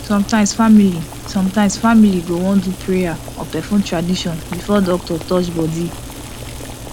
sometimes family sometimes family go wan do prayer or perform tradition before doctor touch body